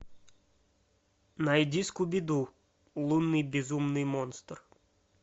найди скуби ду лунный безумный монстр